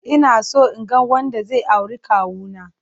Inaso inga wanda zai auri kawuna.